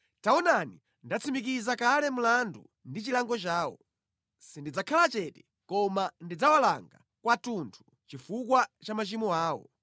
“Taonani, ndatsimikiza kale mlandu ndi chilango chawo; sindidzakhala chete koma ndidzawalanga kwathunthu chifukwa cha machimo awo